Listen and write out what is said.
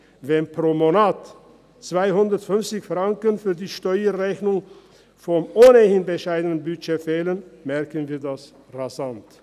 Wenn pro Monat 250 Franken für die Steuerrechnung vom ohnehin bescheidenen Budget fehlen, merkt man das rasant.